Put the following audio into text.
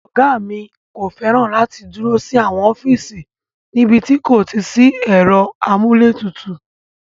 Ọ̀gá mi kò fẹ́ràn láti dúró sí àwọn ọ́fíìsì níbi tí kò sí ẹ̀rọ amúlétutù.